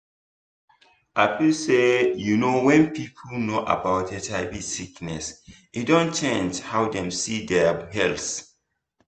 i feel say you know when people know about hiv sickness e don change how dem see dia health